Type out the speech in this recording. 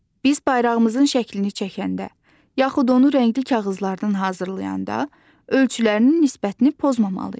Biz bayrağımızın şəklini çəkəndə, yaxud onu rəngli kağızlardan hazırlayanda ölçülərin nisbətini pozmamalıyıq.